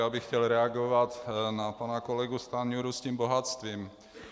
Já bych chtěl reagovat na pana kolegu Stanjuru s tím bohatstvím.